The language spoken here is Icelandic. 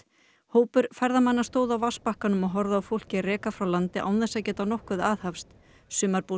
hópur ferðamanna stóð á vatnsbakkanum og horfði á fólkið reka frá landi án þess að geta nokkuð aðhafst